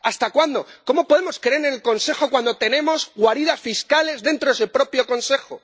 ¿Hasta cuándo? ¿Cómo podemos creer en el Consejo cuando tenemos guaridas fiscales dentro del propio Consejo?